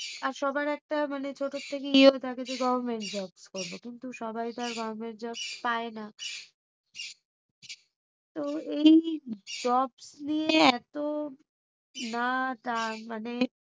আর সবার একটা ছোট থেকে ইয়ে হয়ে থাকে যে government job করবো কিন্তু সবাই তো আর government job পায়না। তো এই jobs নিয়ে এতো মানে